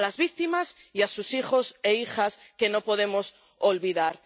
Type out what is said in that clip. a las víctimas y a sus hijos e hijas, a quienes no podemos olvidar.